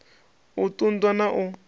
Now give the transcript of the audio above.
u ṱun ḓwa na u